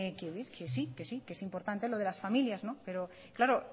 que sí que sí que es importante lo de las familias no pero claro